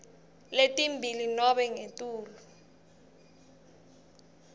letimbili nobe ngetulu